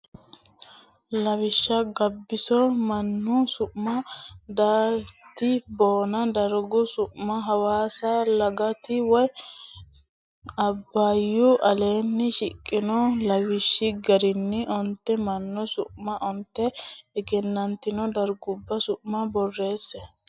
Lawishsha Gabbiso mannu su ma Daaite Boona dargu su ma Hawaasa Loggita way su ma Abbay Aleenni shiqino lawishshi garinni onte mannu su manna onte egennantino dargubba su ma borreesse.